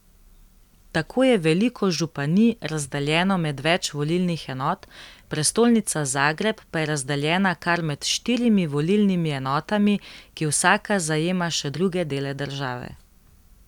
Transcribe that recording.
Tako je veliko županij razdeljeno med več volilnih enot, prestolnica Zagreb pa je razdeljena kar med štirimi volilnimi enotami, ki vsaka zajema še druge dele države.